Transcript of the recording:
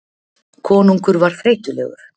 Konungur var þreytulegur.